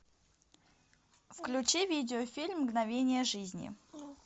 включи видеофильм мгновения жизни